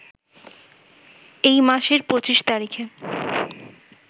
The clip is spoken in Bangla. এই মাসের ২৫ তারিখে